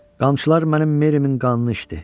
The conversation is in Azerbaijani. Qamçılar mənim Merimin qanını içdi.